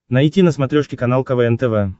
найти на смотрешке канал квн тв